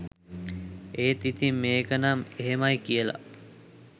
ඒත් ඉතින් මේකනම් එහෙමයි කියලා